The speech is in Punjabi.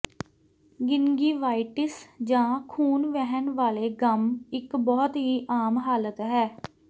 ਗਿੰਗਿਵਾਈਟਿਸ ਜਾਂ ਖੂਨ ਵਹਿਣ ਵਾਲੇ ਗੱਮ ਇੱਕ ਬਹੁਤ ਹੀ ਆਮ ਹਾਲਤ ਹੈ